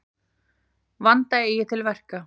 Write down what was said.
Vanda eigi til verka.